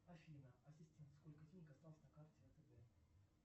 афина ассистент сколько денег осталось на карте втб